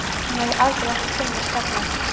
Hann hefði aldrei átt að finnast þarna.